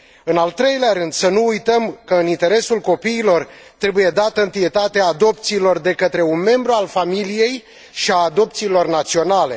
în al treilea rând, să nu uităm că, în interesul copiilor, trebuie dată întâietate adopțiilor de către un membru al familiei și adopțiilor naționale